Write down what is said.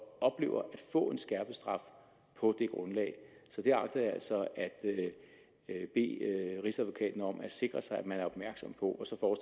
få en skærpet straf på det grundlag så det agter jeg altså at bede rigsadvokaten om at sikre sig at man er opmærksom på og